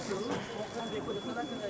Qəşəng olacaq deyiləm.